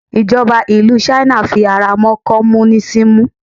ìjọba ìlú china fi ara mọ́ komunisimu